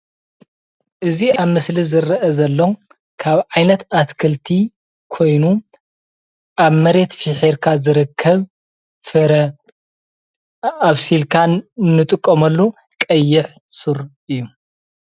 እዚ ኣብ ምስሊ ዝረአ ዘሎ ካብ ዓይነት ኣትክልቲ ኮይኑ ኣብ መሬት ፍሒርካ ዝርከብ ፍረ ኣብሲልካ እንጥቀመሉ ቀይሕ ሱር እዩ፡፡